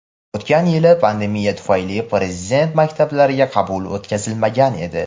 O‘tgan yili pandemiya tufayli Prezident maktablariga qabul o‘tkazilmagan edi.